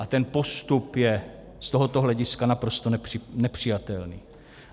A ten postup je z tohoto hlediska naprosto nepřijatelný.